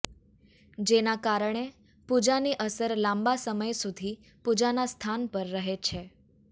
જેના કારણે પૂજાની અસર લાંબા સમય સુધી પૂજાના સ્થાન પર રહે છે